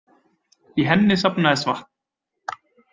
Í henni safnaðist vatn.